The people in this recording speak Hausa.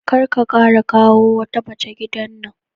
Kar ka kara kawo wata mace gidan nan.